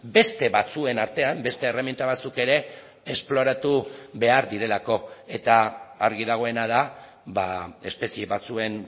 beste batzuen artean beste erreminta batzuk ere esploratu behar direlako eta argi dagoena da espezie batzuen